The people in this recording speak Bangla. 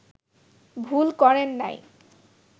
ভুল করেন নাই